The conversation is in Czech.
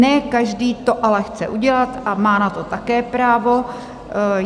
Ne každý to ale chce udělat, a má na to také právo.